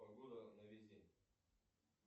погода на весь день